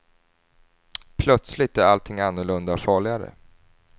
Plötsligt är allting annorlunda och farligare.